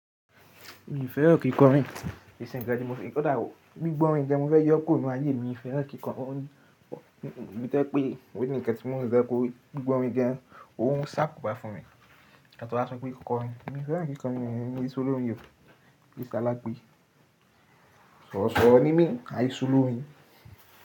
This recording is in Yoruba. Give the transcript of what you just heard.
Mi ò fẹ́ràn kíkọrin, ìsìn ìgbà tí mo fi kọ́ dá gbígbọ́ orin gán, mo fẹ́ yọ kúrò nú ayé mi. Mi ò fẹ́ràn kíkọrin, ó ní bíi tẹ́ pé ó ní ìkẹ́tí mó ń fẹ́ kó gbígbọ́ orin jẹ, òun sá kù bá fún mi. Àtọwọ́ á sọ pé kíkọrin, mi ò fẹ́ràn kíkọrin, mi o se olorin o, mi se alágbé. Sọ̀ọ̀ro sọ̀ọ̀ro ní mi, àìṣò lórín.